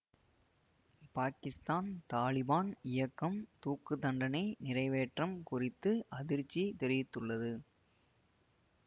பாக்கித்தான் தாலிபான் இயக்கம் தூக்கு தண்டனை நிறைவேற்றம் குறித்து அதிர்ச்சி தெரிவித்துள்ளது